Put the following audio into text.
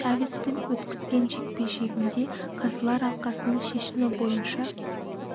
чавеспен өткізген жекпе-жегінде қазылар алқасының шешімі бойынша